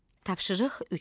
Tapşırıq 3.